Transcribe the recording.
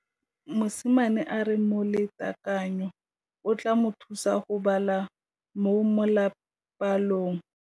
Mosimane a re molatekanyô o tla mo thusa go bala mo molapalong.